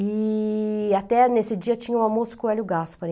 E até nesse dia tinha um almoço com o Elio Gaspari.